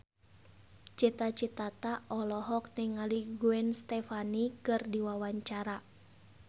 Cita Citata olohok ningali Gwen Stefani keur diwawancara